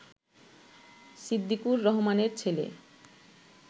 সিদ্দিকুর রহমানের ছেলে